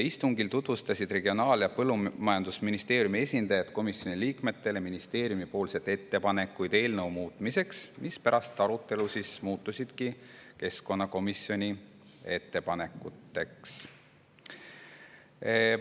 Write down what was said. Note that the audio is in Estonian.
Istungil tutvustasid Regionaal- ja Põllumajandusministeeriumi esindajad komisjoni liikmetele ministeeriumi ettepanekuid eelnõu muutmiseks, mis pärast arutelu muutusidki keskkonnakomisjoni ettepanekuteks.